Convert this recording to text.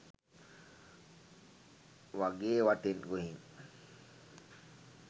වගේ වටෙන් ගොහින්